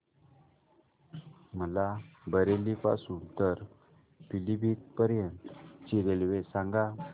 मला बरेली पासून तर पीलीभीत पर्यंत ची रेल्वे सांगा